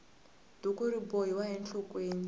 duku ri bohiwa enhlokweni